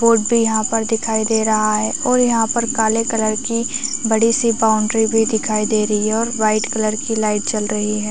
Board भी यहाँ पर दिखाई दे रहा है और यहाँ पर काले कलर की बड़ी सी बाउंड्री भी दिखाई दे रही है और वाइट कलर की लाइट जल रही है।